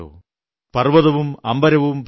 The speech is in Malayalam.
നിങ്ങളുള്ളതുകൊണ്ടാണിതെന്ന സത്യം ഞാനിതാ പറയുന്നു